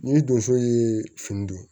Ni donso ye fini don